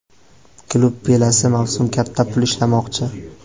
Klub kelasi mavsum katta pul ishlamoqchi.